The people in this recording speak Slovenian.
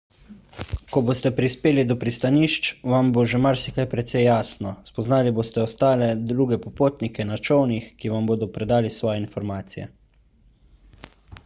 ko boste prispeli do pristanišč vam bo že marsikaj precej jasno spoznali boste ostale druge popotnike na čolnih ki vam bodo predali svoje informacije